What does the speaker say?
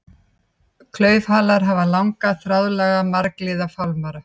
Klaufhalar hafa langa, þráðlaga, margliða fálmara.